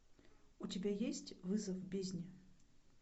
у тебя есть вызов бездне